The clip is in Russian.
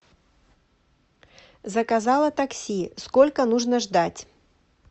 заказала такси сколько нужно ждать